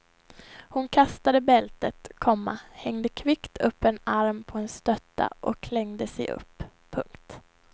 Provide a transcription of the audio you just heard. Hon kastade bältet, komma hängde kvickt upp en arm på en stötta och klängde sig upp. punkt